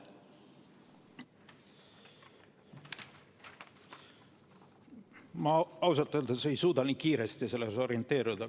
Ma ausalt öeldes ei suuda nii kiiresti selles orienteeruda.